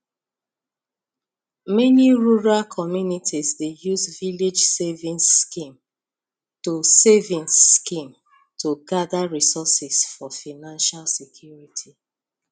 many rural communities dey use village savings scheme to savings scheme to gather resources for financial security